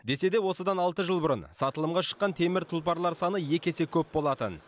десе де осыдан алты жыл бұрын сатылымға шыққан темір тұлпарлар саны екі есе көп болатын